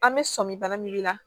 An bɛ sɔmi bara min la